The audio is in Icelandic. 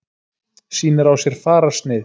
Sýnir á sér fararsnið.